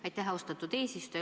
Aitäh, austatud eesistuja!